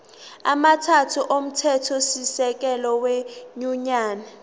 amathathu omthethosisekelo wenyunyane